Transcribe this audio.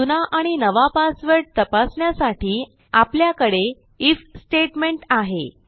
जुना आणि नवा पासवर्ड तपासण्यासाठी आपल्याकडे आयएफ स्टेटमेंट आहे